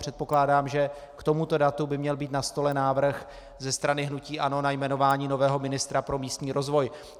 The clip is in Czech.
Předpokládám, že k tomuto datu by měl být na stole návrh ze strany hnutí ANO na jmenování nového ministra pro místní rozvoj.